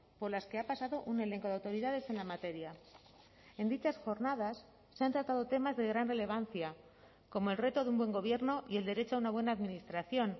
por las que ha pasado un elenco de autoridades en la materia en dichas jornadas se han tratado temas de gran relevancia como el reto de un buen gobierno y el derecho a una buena administración